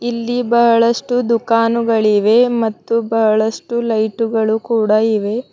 ಇಲ್ಲಿ ಬಾಳಷ್ಟು ದುಖಾನುಗಳಿವೆ ಮತ್ತು ಬಹಳಷ್ಟು ಲೈಟುಗಳು ಕೂಡ ಇವೆ.